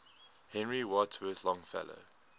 henry wadsworth longfellow